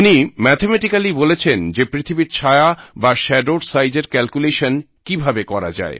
উনি ম্যাথামেটিক্যালি বলেছেন যে পৃথিবীর ছায়া বা শ্যাডোর সাইজের ক্যালকুলেশন কীভাবে করা যায়